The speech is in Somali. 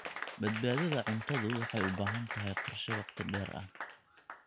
Badbaadada cuntadu waxay u baahan tahay qorshe wakhti dheer ah.